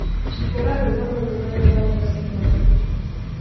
hura rwĩmbo rũrũ rwerũ rwa Josky kiambukuta